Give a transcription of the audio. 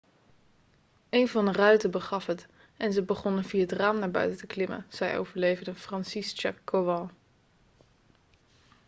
'een van de ruiten begaf het en ze begonnen via het raam naar buiten te klimmen,' zei overlevende franciszek kowal